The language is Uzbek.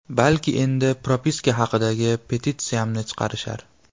Balki endi propiska haqidagi petitsiyamni chiqarishar.